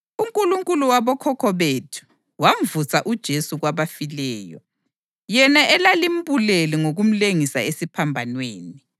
UNkulunkulu wabokhokho bethu wamvusa uJesu kwabafileyo, yena elalimbulele ngokumlengisa esiphambanweni.